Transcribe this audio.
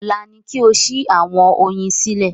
Ọ̀la ni kí ẹ sí àwọn oyin sílẹ̀